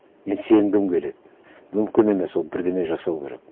мен сенгім келеді мүмкін емес ол бірдеңе жасау керек